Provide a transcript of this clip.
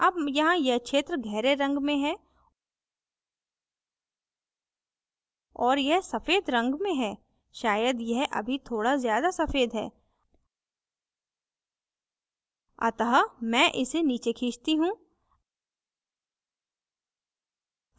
अब यहाँ यह क्षेत्र गहरे रंग में है और यह सफ़ेद रंग में है शायद यह अभी थोड़ा ज्यादा सफ़ेद है अतः मैं इसे नीचे खींचती हूँ